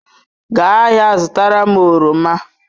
Gaa ahịa zụtara m oroma.